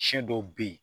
Siyɛn dɔw bɛ ye